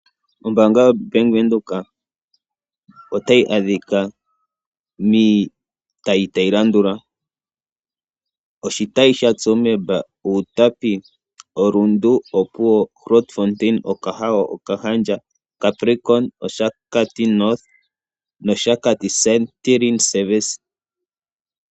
Ombaanga yoBank Windhoek otayi adhika miitayi tayi landula oshitayi shaTsumeb, Outapi, oRundu, Opuwo, Grootfontein, Okahao, Okahandja, Capricorn, Oshakati-North nOshakati Santorini Service.